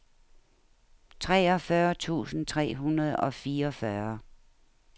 treogfyrre tusind tre hundrede og fireogfyrre